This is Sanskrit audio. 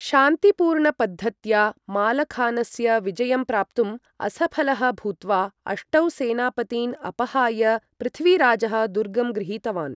शान्तिपूर्णपद्धत्या मालखानस्य विजयं प्राप्तुं असफलः भूत्वा, अष्टौ सेनापतीन् अपहाय, पृथ्वीराजः दुर्गं गृहीतवान्।